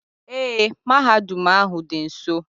Ee, mahadum ahụ dị nso.